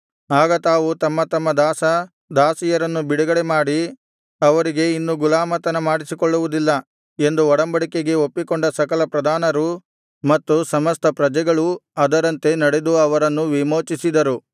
ಆಗ ತಾವು ತಮ್ಮ ತಮ್ಮ ದಾಸ ದಾಸಿಯರನ್ನು ಬಿಡುಗಡೆಮಾಡಿ ಅವರಿಂದ ಇನ್ನು ಗುಲಾಮತನ ಮಾಡಿಸಿಕೊಳ್ಳುವುದಿಲ್ಲ ಎಂದು ಒಡಂಬಡಿಕೆಗೆ ಒಪ್ಪಿಕೊಂಡ ಸಕಲ ಪ್ರಧಾನರೂ ಮತ್ತು ಸಮಸ್ತ ಪ್ರಜೆಗಳೂ ಅದರಂತೆ ನಡೆದು ಅವರನ್ನು ವಿಮೋಚಿಸಿದರು